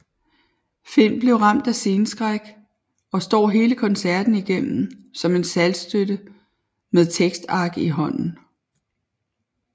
Finn bliver ramt af sceneskræk og står hele koncerten igennem som en saltstøtte med tekstark i hånden